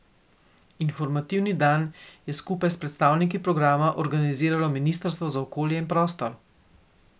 Informativni dan je skupaj s predstavniki programa organiziralo ministrstvo za okolje in prostor.